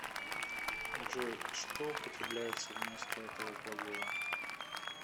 джой что употребляется вместо этого глагола